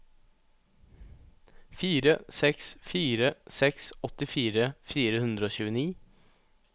fire seks fire seks åttifire fire hundre og tjueni